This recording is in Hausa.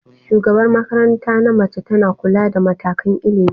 Shugabar makaranta na mace tana kula da matakan ilimi.